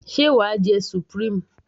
sé wàá jẹ supreme?